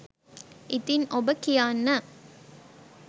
ඉතින් ඔබ කියන්න